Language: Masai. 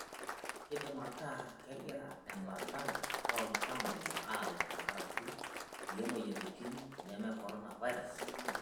Keidim ataa kegira embata oo ltamoyia aaye tenkaraki kulie moyiaritin neme korona virus